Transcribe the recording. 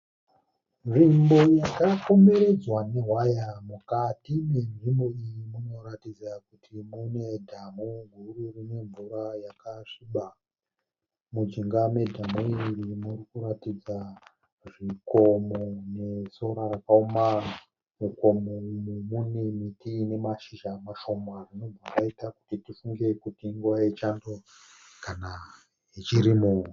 Nzvimbo yakakomberedzwa nehwaya mukati nenzvimbo iyi munoratidza kuti munedhamhu guru rinemvura yakasviba. Mujinga medhamhu iri murikuratidza zvikomo nesora rakaoma. Mugomo umu mune miti inemashizha mashoma zvinobva zvaita kuti tifunge kuti inguva yechando kana yechirimo.